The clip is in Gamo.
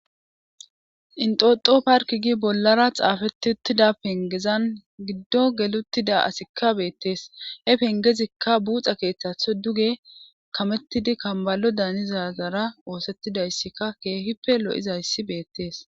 intoxo park gi bollara xaafetettida pengezan giddo geluttida asikka beettees he pengezikka buxa keeththatho duge kamettidi kambalo danizazara oosettidayssika keehippe lo7izayssi beettees